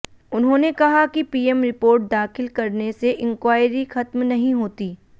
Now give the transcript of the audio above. उन्होंने कहा कि पीएम रिपोर्ट दाखिल करने से इन्क्वारी खत्म नहीं होती